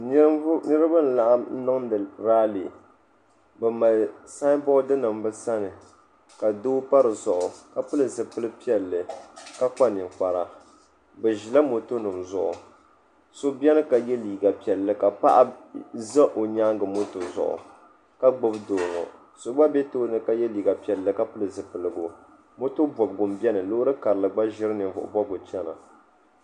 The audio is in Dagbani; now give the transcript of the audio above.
niraba n laɣam niŋdi raali bi mali sanbood nim bi sani ka doo pa dizuɣu ka pili zipili piɛlli ka kpa ninkpara bi ʒila moto nim zuɣu so biɛni ka yɛ liiga piɛlli ka paɣa ʒɛ o nyaangi moto zuɣu ka gbubi doo ŋɔ so gba biɛni ka yɛ liiga piɛlli ka pili zipiligu moto bobgu n biɛni loori karili gba ʒiri ninvuɣu bobgu chɛna